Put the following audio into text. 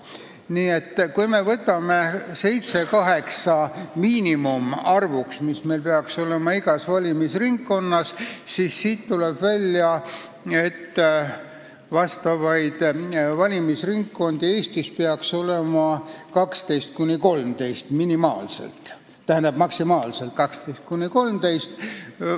Nii et kui me võtame mandaatide miinimumarvuks seitse-kaheksa, mis peaks olema igas valimisringkonnas, siis tuleb välja, et valimisringkondi peaks Eestis olema maksimaalselt 12–13.